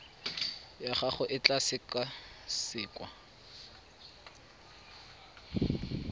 ya gago e tla sekasekwa